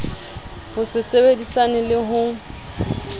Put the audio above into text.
ho se sebedisane le ho